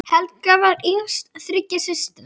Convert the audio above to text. Helga var yngst þriggja systra.